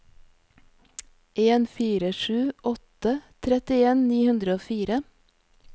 en fire sju åtte trettien ni hundre og fire